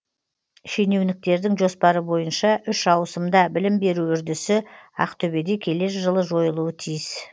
шенеуніктердің жоспары бойынша үш ауысымда білім беру үрдісі ақтөбеде келер жылы жойылуы тиіс